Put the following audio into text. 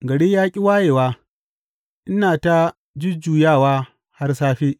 Gari ya ƙi wayewa, ina ta jujjuyawa har safe.